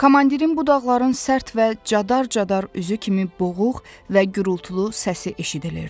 Komandirin budaqların sərt və cadar-cadar üzü kimi boğuq və gürultulu səsi eşidilirdi.